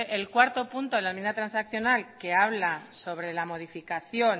el cuarto punto de la enmienda transaccional que habla sobre la modificación